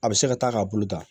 A bɛ se ka taa k'a bolo ta